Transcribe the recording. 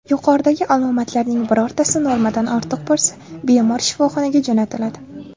Yuqoridagi alomatlarning birortasi normadan ortiq bo‘lsa, bemor shifoxonaga jo‘natiladi.